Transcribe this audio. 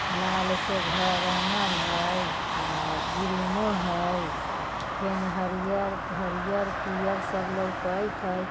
लाल से घर रंगल हइ अ ग्रीनो हइ अ फेन हरियर-हरियर पियर सब लौकैत हइ ।